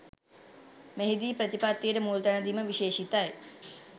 මෙහිදී ප්‍රතිපත්තියට මුල්තැන දීම විශේෂිතයි